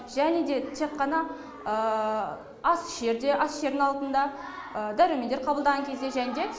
және де тек қана ас ішерде ас ішердің алдында дәрумендер қабылдаған кезде және де